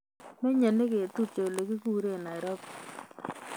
Menye negetupche olekiguren Nairobi